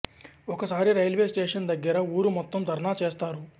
ఒక సారి railway station దగ్గర ఊరు మొత్తం ధర్నా చేస్తారు